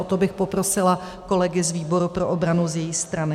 O to bych poprosila kolegy z výboru pro obranu z její strany.